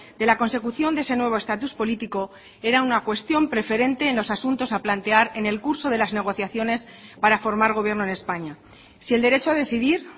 de la consecución de ese nuevo estatus político era una cuestión preferente en los asuntos a plantear en el curso de las negociaciones para formar gobierno en españa si el derecho a decidir